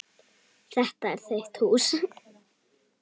Þetta er þitt hús.